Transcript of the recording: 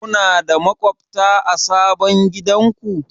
Kuna da maƙwabta a sabon gidanku?